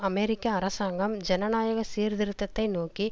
அமெரிக்க அரசாங்கம் ஜனநாயக சீர்திருத்தத்தை நோக்கி